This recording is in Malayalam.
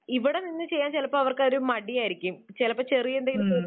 ഇവിടെനിന്ന് ചെയ്യാൻ ചിലപ്പോൾ അവർക്കൊരു മടിയായിരിക്കും. ചിലപ്പോൾ ചെറിയ എന്തെങ്കിലും തൊഴിൽ